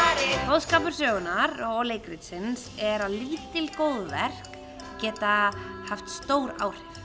boðskapur sögunnar og leikritsins er að lítil góðverk geta haft stór áhrif